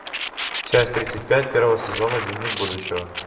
часть тридцать пять первого сезона дневник будущего